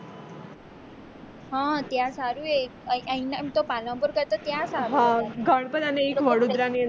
હ ત્યાં સારું અહીંયા પાલનપુર કરતા ત્યાં સારું છે ગણપત અને એક વડોદરા ની અંદર